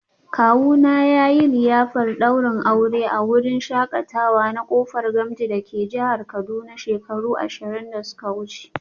Kawuna yayi liyafar daurin aure a wurin shakatawa na Kofar Gamji dake jihar Kaduna shekaru ashirin da suka wuce